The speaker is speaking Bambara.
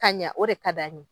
Ka ɲɛ o de ka d'an ye